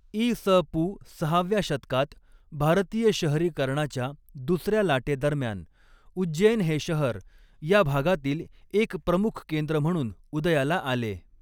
इ. स. पू. सहाव्या शतकात भारतीय शहरीकरणाच्या दुसऱ्या लाटेदरम्यान उज्जैन हे शहर या भागातील एक प्रमुख केंद्र म्हणून उदयाला आले.